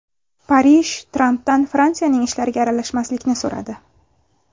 Parij Trampdan Fransiyaning ishlariga aralashmaslikni so‘radi.